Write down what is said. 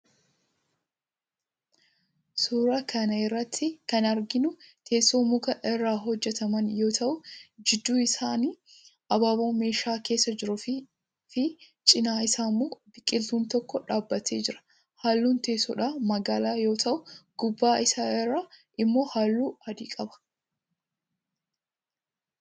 Suuraa kana irratti kan arginu teessoo muka irraa hojjetaman yoo ta'u gidduu isaanii abaaboo meeshaa keessa jiruufii fi cinaa isaa immoo biqiltuun tokkoo dhaabbatee jira. Halluun teessodhaa magaalaa yoo ta'u gubbaa isaa irraa immoo halluu adii qaba.